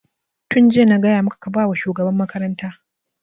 Tun jiya na gaya maka ka ba wa shugaban makaranta!